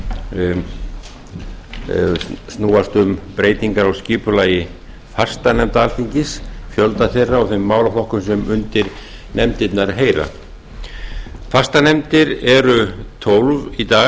sem snúast um breytingar á skipulagi fastanefnda alþingis fjölda þeirra og þeim málaflokkum sem undir nefndirnar heyra fastanefndir eru tólf